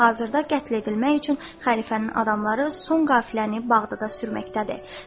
Hazırda qətl edilmək üçün Xəlifənin adamları son qafiləni Bağdada sürməkdədir.